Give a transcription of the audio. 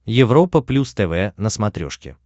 европа плюс тв на смотрешке